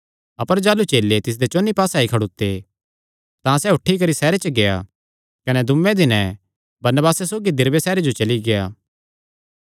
अपर जाह़लू चेले तिसदे चौंन्नी पास्से आई खड़ोते तां सैह़ उठी करी सैहरे च गेआ कने दूँये दिने बरनबासे सौगी दिरबे सैहरे जो चली गेआ